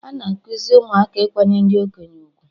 Ana ekuzi ụmụaka Ikwanyere ndị okenye ugwu